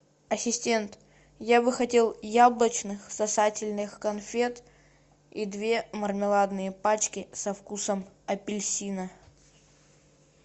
ассистент я бы хотел яблочных сосательных конфет и две мармеладные пачки со вкусом апельсина